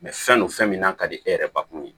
fɛn don fɛn min n'a ka di e yɛrɛ ba kun ye